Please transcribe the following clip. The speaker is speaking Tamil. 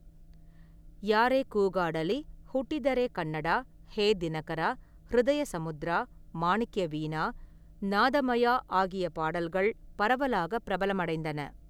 யாரே கூகாடலி', 'ஹூட்டிதரே கன்னடா', 'ஹே தினகரா', 'ஹ்ருதய சமுத்ரா', 'மாணிக்யவீணா', 'நாதமயா' ஆகிய பாடல்கள் பரவலாக பிரபலமடைந்தன.